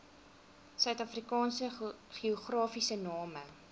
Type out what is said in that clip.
suidafrikaanse geografiese name